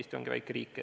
Eesti ongi väike riik.